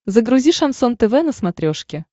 загрузи шансон тв на смотрешке